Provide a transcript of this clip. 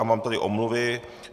A mám tady omluvy.